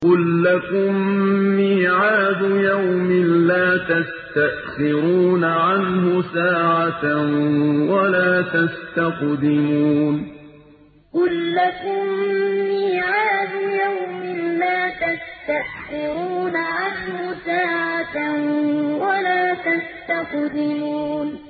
قُل لَّكُم مِّيعَادُ يَوْمٍ لَّا تَسْتَأْخِرُونَ عَنْهُ سَاعَةً وَلَا تَسْتَقْدِمُونَ قُل لَّكُم مِّيعَادُ يَوْمٍ لَّا تَسْتَأْخِرُونَ عَنْهُ سَاعَةً وَلَا تَسْتَقْدِمُونَ